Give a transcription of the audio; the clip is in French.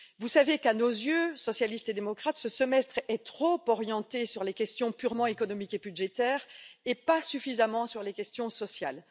Vous savez qu'à nos yeux, socialistes et démocrates, ce semestre est trop orienté sur les questions purement économiques et budgétaires et pas suffisamment sur les questions sociales.